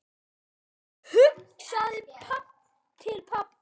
Hugsaði til pabba.